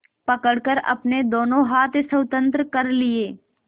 पकड़कर अपने दोनों हाथ स्वतंत्र कर लिए